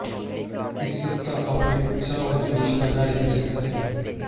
इस सप्ताह आपमें उत्साह और जोश बना रह सकता है